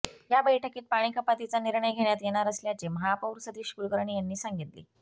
या बैठकीत पाणीकपातीचा निर्णय घेण्यात येणार असल्याचे महापौर सतीश कुलकर्णी यांनी सांगितले